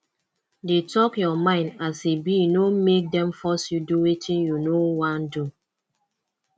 dey talk your mind as e be no make dem force you do wetin you no won do